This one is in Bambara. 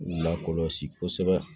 Lakɔlɔsi kosɛbɛ